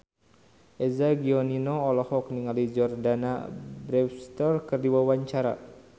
Eza Gionino olohok ningali Jordana Brewster keur diwawancara